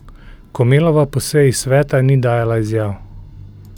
Komelova po seji sveta ni dajala izjav.